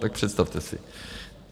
Tak představte si.